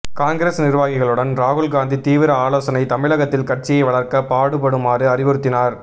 காங்கிரஸ் நிர்வாகிகளுடன் ராகுல்காந்தி தீவிர ஆலோசனை தமிழகத்தில் கட்சியை வளர்க்க பாடுபடுமாறு அறிவுறுத்தினார்